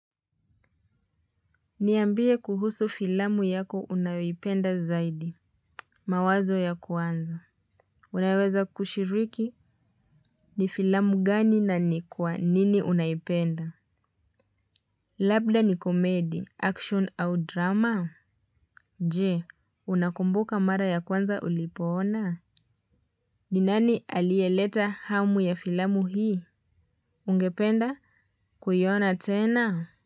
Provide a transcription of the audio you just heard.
Niambie kuhusu filamu yako unawipenda zaidi. Mawazo ya kwanza. Unaweza kushiriki ni filamu gani na ni kwa nini unaipenda. Labda ni komedi, action au drama? Je, unakumbuka mara ya kwanza ulipoona? Ninani alieleta hamu ya filamu hii? Ungependa kuyona tena?